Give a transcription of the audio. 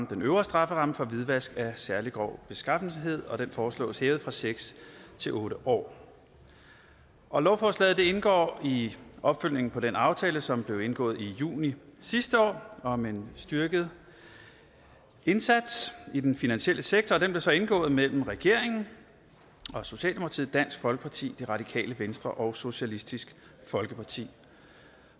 den øvre strafferamme for hvidvask af særlig grov beskaffenhed og den foreslås hævet fra seks til otte år år lovforslaget indgår i opfølgningen på den aftale som blev indgået i juni sidste år om en styrket indsats i den finansielle sektor og den blev så indgået mellem regeringen socialdemokratiet dansk folkeparti og det radikale venstre og socialistisk folkeparti